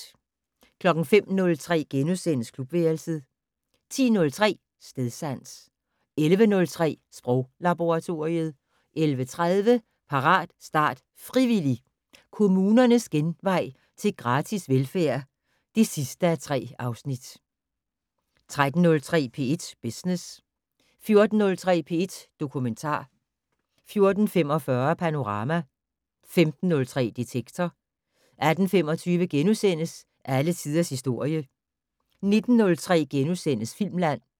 05:03: Klubværelset * 10:03: Stedsans 11:03: Sproglaboratoriet 11:30: Parat, start, frivillig! - Kommunernes genvej til gratis velfærd (3:3) 13:03: P1 Business 14:03: P1 Dokumentar 14:45: Panorama 15:03: Detektor 18:25: Alle tiders historie * 19:03: Filmland *